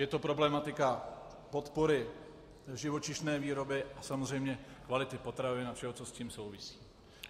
Je to problematika podpory živočišné výroby a samozřejmě kvality potravin a všeho, co s tím souvisí.